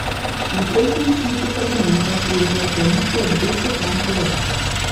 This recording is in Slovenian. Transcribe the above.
V prejšnjem sklicu parlamenta je imela koalicija devet poslancev več.